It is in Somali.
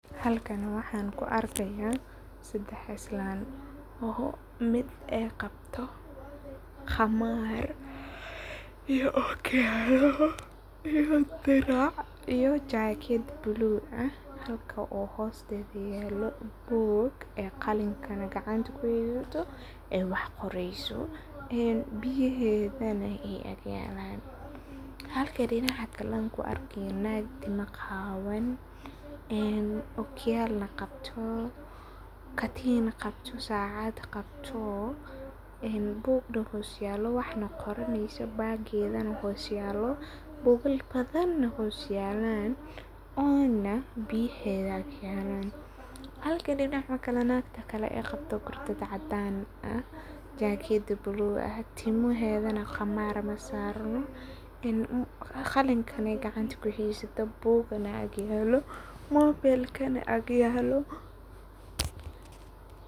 Halkani waxan ku arkaya sedex islan oo mid ay qabto khaamar ,iyo okiyalo, iyo dirac iyo jakad baluu ah oo hosteda yalo buug oo qalina gacanta kuwadato ay wax qoreso biyahedana ay aq yalan. Halka dinaca kalena an ku arkeynoo dag qawan, oo katin qabto sacadna qabto ,bugna xoos yalo wahna qoranesa okiyalaha xos yelan bugal badana hos yelan, ona biyahana ag yalana .Halka mida kalena qabto jakad buluu ah ,timahedana khamar masarno qalinle gacanta kuheysata buugna ag yelo ,mobelkana ag yelo.